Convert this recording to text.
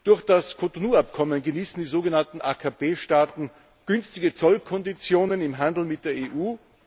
Durch das Abkommen von Cotonou genießen die sogenannten AKP Staaten günstige Zollkonditionen im Handel mit der EU.